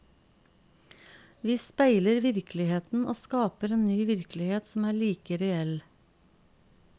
Vi speiler virkeligheten og skaper en ny virkelighet som er like reell.